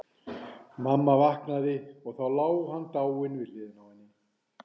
Mamma vaknaði og þá lá hann dáinn við hliðina á henni.